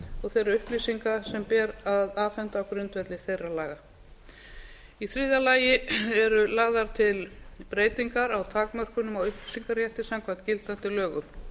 og þeirra upplýsinga sem ber að afhenda á grundvelli þeirra laga í þriðja lagi eru lagðar til breytingar á takmörkunum á upplýsingarétti samkvæmt gildandi lögum